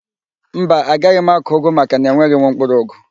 Mba, agaghị m akụ ụgụ makana enweghị m mkpụrụụgụ